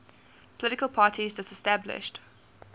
political parties disestablished